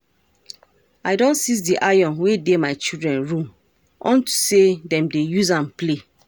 I don seize the iron wey dey my children room unto say dem dey use am play